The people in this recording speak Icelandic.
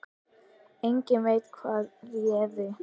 Enginn veit hvað réði.